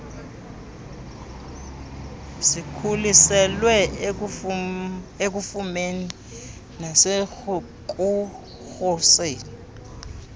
zikhuselwe ekufumeni nasekuruseni